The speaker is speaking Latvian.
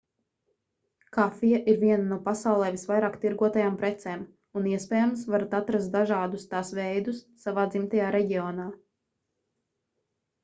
kafija ir viena no pasaulē visvairāk tirgotajām precēm un iespējams varat atrast dažādus tās veidus savā dzimtajā reģionā